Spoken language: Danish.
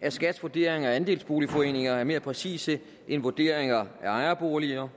at skats vurderinger af andelsboligforeninger er mere præcise end vurderingerne af ejerboliger